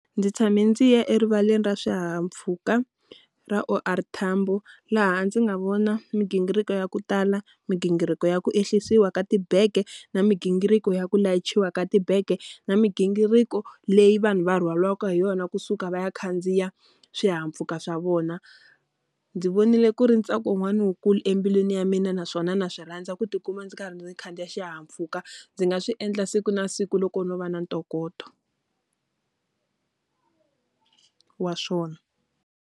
Ndzi tshame ndzi ya erivaleni ra swihahampfhuka ra O_R Tambo laha ndzi nga vona migingiriko ya ku tala. Migingiriko ya ku ehlisiwa ka tibege, na migingiriko ya ku layichiwa ka tibege, na migingiriko leyi vanhu va rhwariwaka hi yona kusuka va ya khandziya swihahampfhuka swa vona. Ndzi vonile ku ri ntsako wun'wani wu kulu embilwini ya mina naswona na swi rhandza ku ti kuma ndzi karhi ndzi khandziya xihahampfhuka. Ndzi nga swi endla siku na siku loko no va na ntokoto wa swona.